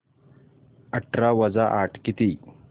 अठरा वजा आठ किती